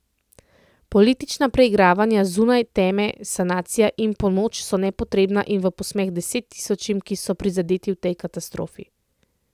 Politična preigravanja zunaj teme sanacija in pomoč so nepotrebna in v posmeh deset tisočim, ki so prizadeti v tej katastrofi.